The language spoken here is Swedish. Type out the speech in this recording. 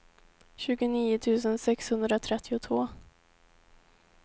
tjugonio tusen sexhundratrettiotvå